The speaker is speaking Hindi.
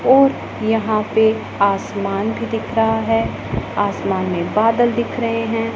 और यहां पे आसमान भी दिख रहा है आसमान में बादल दिख रहे हैं।